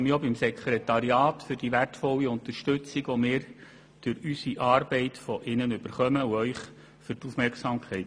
Ich bedanke mich auch beim Sekretariat für die wertvolle Unterstützung, die wir erhalten, und bei Ihnen für die Aufmerksamkeit